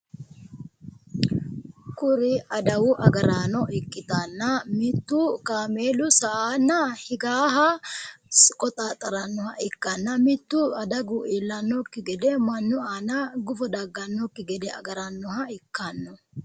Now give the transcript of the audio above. Kuri adawu agaraano ikkitanna mittu kaameelu sa"anna higaaha qoxaaxxarannoha ikkanna mittu adagu iillannokki gede mannu aana gufo daggannokki gede agarannoha ikkanno.